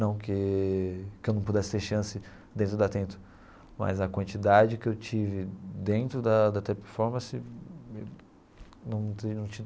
Não que que eu não pudesse ter chance dentro da Atento, mas a quantidade que eu tive dentro da da Teleperformance, num num.